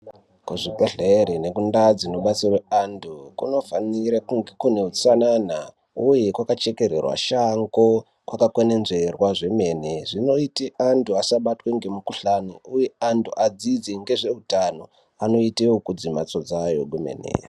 Kuzvibhedhlera nekundau dzinobatsirwa antu kuno fanirwe kunge kune utsanana uye kwakaxhekererwa Shango wakakwenenzverwa antu asabatwa nemukuhlani uye antu asabatwa nemukuhlani uye antu adzidze nezvehutano anoita zvekudzidza mbatso dzawo kwemene.